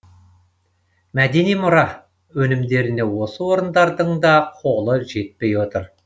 мәдени мұра өнімдеріне осы орындардың да қолы жетпей отыр